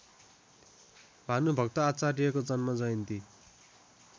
भानुभक्त आचार्यको जन्मजयन्ती